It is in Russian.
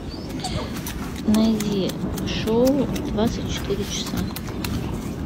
найди шоу двадцать четыре часа